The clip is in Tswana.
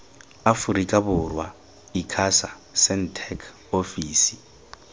aforika borwa icasa sentech ofisi